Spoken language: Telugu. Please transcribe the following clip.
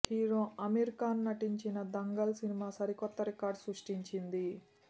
హీరో అమీర్ ఖాన్ నటించిన దంగల్ సినిమా సరికొత్త రికార్డ్ సృష్టించింది